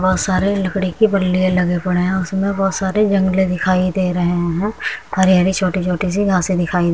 बोहोत सारे लकड़ी के बल्ले लगे पड़े हैं। उसमें बोहोत सारे दिखाई दे रहे हैं। हरे-हरे छोटे-छोटे से घासें दिखाई --